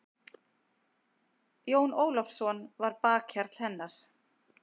Jón Ólafsson var bakhjarl hennar.